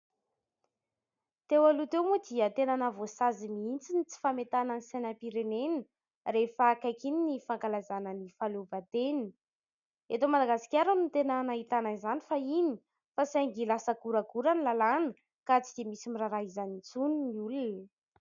Teo aloha teo moa dia tena mahavoasazy mihitsy ny tsy fametahana ny sainam-pirenena rehefa akaiky iny ny fankalazana ny fahaleovan-tena. Eto Madagasikara no tena nahitana izany fahiny fa saingy lasa goragora ny lalàna ka tsy dia misy miraharaha izany intsony ny olona.